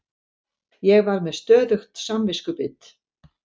Ég var með stöðugt samviskubit.